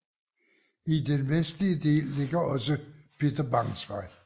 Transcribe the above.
I den vestlige del ligger også Peter Bangs Vej